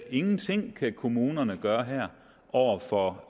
ingenting kan kommunerne gøre her over for